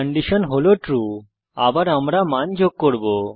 condition হল true আবার আমরা মান যোগ করব